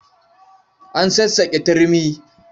An sassaƙe turmi.